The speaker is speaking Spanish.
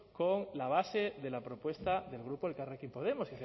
con la base de la propuesta del grupo elkarrekin podemos